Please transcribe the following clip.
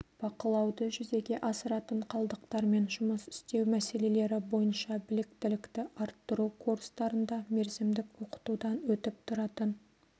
бақылауды жүзеге асыратын қалдықтармен жұмыс істеу мәселелері бойынша біліктілікті арттыру курстарында мерзімдік оқытудан өтіп тұратын